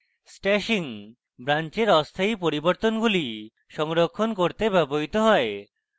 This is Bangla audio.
stashing ব্রান্চের অস্থায়ী পরিবর্তনগুলি সংরক্ষণ করতে ব্যবহৃত হয়